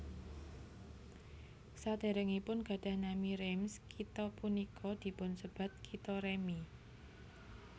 Sadèrèngipun gadhah nami Reims kitha punika dipunsebat Kitha Remi